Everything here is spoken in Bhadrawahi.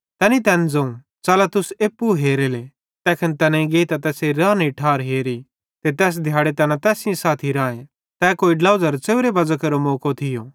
तैनी तैन ज़ोवं च़ला तुस एप्पू हेरेले तैखन तैनेईं गेइतां तैसेरे रानेरी ठार हेरी ते तैस दिहाड़े तैना तैस साथी राए तै कोई ड्लोझ़ी च़ेव्रे बज़ां केरो मौको थियो